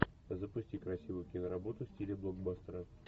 запусти красивую киноработу в стиле блокбастера